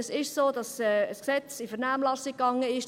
Es ist so, dass das Gesetz in die Vernehmlassung gegangen ist.